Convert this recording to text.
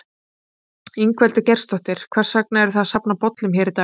Ingveldur Geirsdóttir: Hvers vegna eruð þið að safna bollum hér í dag?